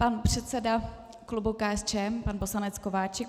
Pan předseda klubu KSČM pan poslanec Kováčik.